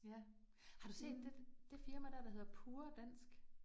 Ja. Har du set det det firma der, der hedder Pure Dansk